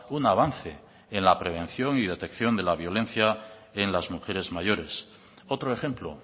un avance en la prevención y detección de la violencia en las mujeres mayores otro ejemplo